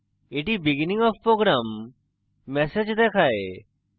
এটি beginning of program message দেখায়